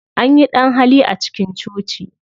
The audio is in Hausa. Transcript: Anyi ɗan-hali a cikin coci.